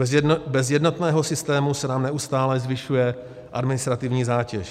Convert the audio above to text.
Bez jednotného systému se nám neustále zvyšuje administrativní zátěž.